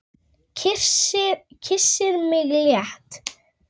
Kyssir mig létt.